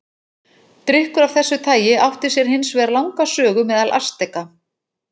Drykkur af þessu tagi átti sér hins vegar langa sögu meðal Asteka.